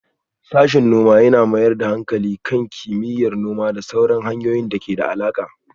Sashen noma ya mayar da hankali kan kimiyyar noma da sauran fannonin da ke da alaƙa.